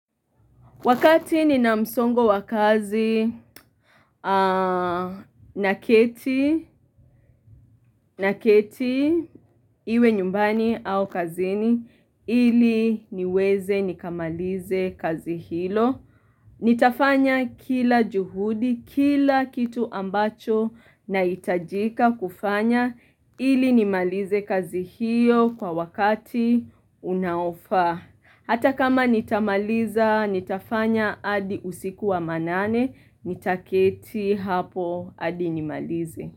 Wakati nina msongo wakazi na keti iwe nyumbani au kazini ili niweze nikamalize kazi hilo. Nitafanya kila juhudi, kila kitu ambacho na hitajika kufanya ili nimalize kazi hiyo kwa wakati unaofaa. Hata kama nitamaliza, nitafanya, hadi usiku wa manane, nitaketi hapo, hadi nimalize.